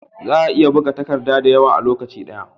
Za'a iya buga takadda da yawa a lokacin daya